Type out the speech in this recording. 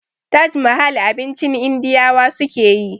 Taj mahal abincin indiyawa sukeyi